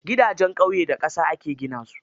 Gidajen ƙauye da ƙasa aka gina su.